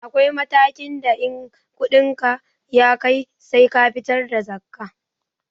Akwai matakin da in kuɗinka ya kai sai ka fitar da zakkah